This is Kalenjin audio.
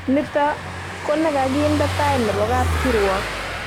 Nito konekikakinde tai nebo kapkirwok